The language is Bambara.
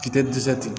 Kita dɛsɛ tigɛ